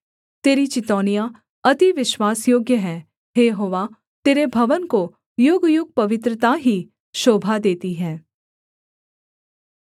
तेरी चितौनियाँ अति विश्वासयोग्य हैं हे यहोवा तेरे भवन को युगयुग पवित्रता ही शोभा देती है